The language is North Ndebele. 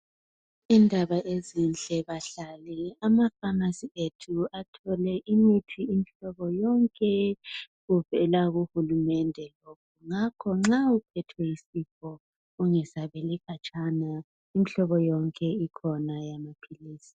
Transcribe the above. Indaba ezinhle bahlali ama pharmacy ethu athole imithi umhlobo yonke evela kuhulumende ngakho ke nxa uphethwe yisifo ungahambeli khatshana imihlobo yonke ikhona